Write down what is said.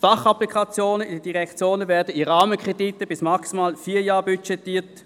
Die Fachapplikationen der Direktionen werden mit Rahmenkrediten auf maximal vier Jahren budgetiert.